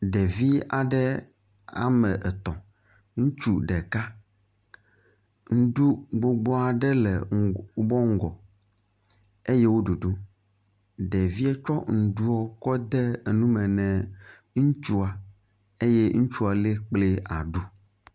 Ɖevi aɖe ame etɔ̃, ŋutsu ɖeka. Ŋɖu gbogbo aɖe le wobe ŋgɔ eye wo ɖuɖum, ɖeviɛ tsɔ ŋɖuɔ tsɔ de enume nɛ ŋutsua eye ŋutsua le kple aɖu.